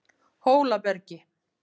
Hólabergi